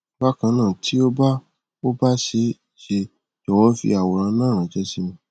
bakanna ti o ba o ba see se jọwọ fi àwòrán náà ranse si mí